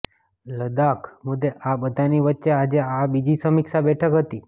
લદાખ મુદ્દે આ બધાની વચ્ચે આજે આ બીજી સમીક્ષા બેઠક હતી